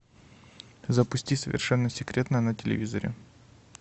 запусти совершенно секретно на телевизоре